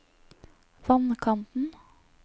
vannkanten